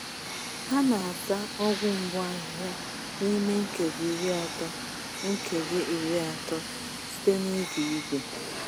A na-asa ọgwụ mgbu ahịhịa n’ime nkeji iri atọ nkeji iri atọ site n’iji igwe.